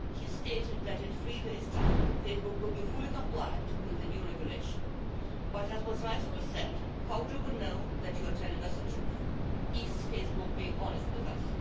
He stated that in three days' time Facebook will be fully compliant with the new regulation, but as was rightfully said, how do we know that you are telling us a truth? Is Facebook being honest with us?